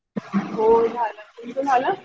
हो झाला तुमचा झाला?